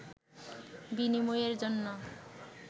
বিনিময়ের জন্য